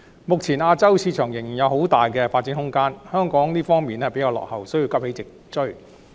目前，亞洲市場仍然有很大的發展空間，但香港在這方面比較落後，需要急起直追。